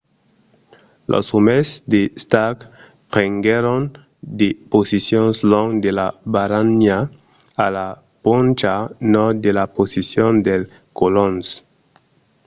los òmes de stark prenguèron de posicions long de la barranha a la poncha nòrd de la posicion dels colons